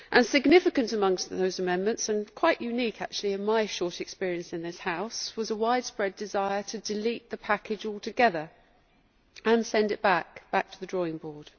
Significant amongst those amendments and quite unique, actually, in my short experience in this House was a widespread desire to delete the package altogether and send it back to the drawing board.